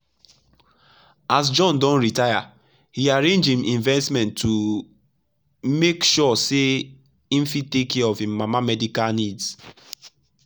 as john don retire he arrange him investment to make sure say him fit take care of him mama medical needs.